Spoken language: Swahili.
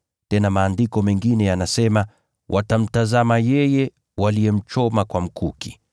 Tena Andiko lingine lasema, “Watamtazama yeye waliyemchoma.”